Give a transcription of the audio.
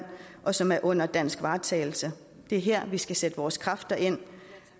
og som er under dansk varetagelse det er her vi skal sætte vores kræfter ind